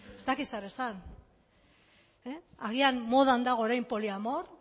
ez dakit zer esan agian modan dago orain poliamor